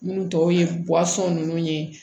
Minnu tɔw ye ninnu ye